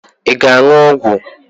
Ị ga-aṅụ ọgwụ?